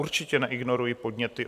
Určitě neignoruji podněty.